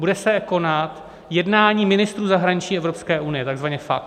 Bude se konat jednání ministrů zahraničí Evropské unie, takzvaně FAC.